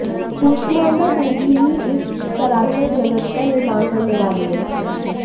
कूष्मांडा देवी ही इस चराचर जगत का निर्माण करने वाली हैं